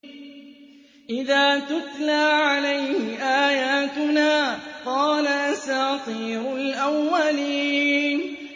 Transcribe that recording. إِذَا تُتْلَىٰ عَلَيْهِ آيَاتُنَا قَالَ أَسَاطِيرُ الْأَوَّلِينَ